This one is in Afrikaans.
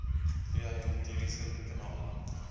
via juridiese kanale